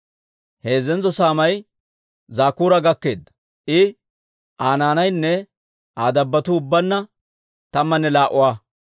Heezzantso saamay Zakkuura gakkeedda; I, Aa naanaynne Aa dabbotuu ubbaanna tammanne laa"uwaa.